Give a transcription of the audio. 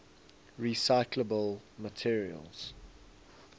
recyclable materials